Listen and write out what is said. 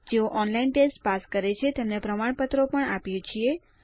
જેઓ online test pass કરે છે તેમને પ્રમાણપત્રો પણ આપીએ છીએ